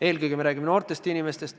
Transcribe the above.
Eelkõige räägime siin noortest inimestest.